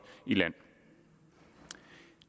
i land